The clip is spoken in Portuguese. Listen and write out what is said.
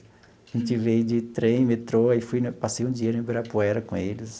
A gente veio de trem, metrô, aí fui passei um dia no Ibirapuera com eles.